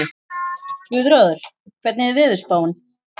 Guðráður, hvernig er veðurspáin?